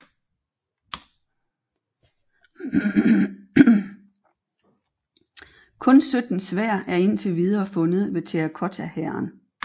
Kun 17 sværd er indtil videre fundet ved Terrakottahæren